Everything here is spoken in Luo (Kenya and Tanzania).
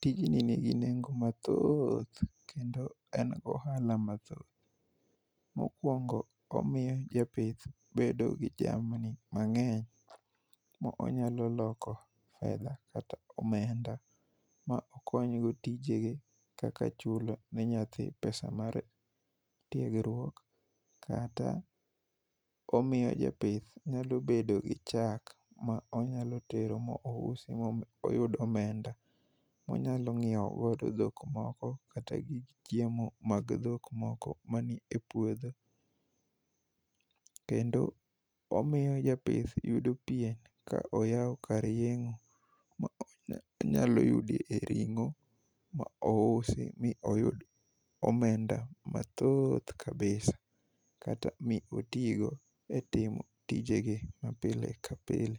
Tijni nigi nengo mathoth kendo en gohala mathoth. Mokwongo omiyo japith bedo gi jamni mang'eny mo onyalo loko fedha kata omenda ma okonyogo tije ge kaka: chulo ne nyathi pesa mar tiegruok kata omiyo japith nyalo bedo gi chak ma onyalo tero mousi moyud omenda. Onyalo nyiewo godo dhok moko kata chiemo mag dhok moko mani e puodho , kendo omiyo japith yudo pien ka oyaw kar yeng'o ma onyalo yude ring'o mousi mi oyud omenda mathoth kabisa kata mi otigo e timo tijege ma pile ka pile